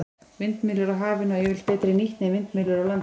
Vindmyllur á hafi ná yfirleitt betri nýtni en vindmyllur á landi.